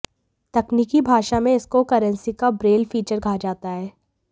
तकनीकी भाषा में इसको करंसी का ब्रेल फीचर कहा जाता है